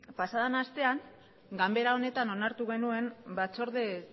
pasadan astean ganbera honetan onartu genuen batzorde